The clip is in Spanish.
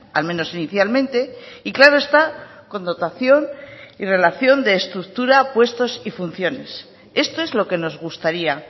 al menos inicialmente y claro está con dotación y relación de estructura puestos y funciones esto es lo que nos gustaría